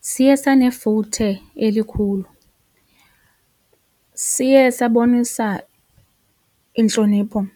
Siye sanefuthe elikhulu, siye sabonisa intlonipho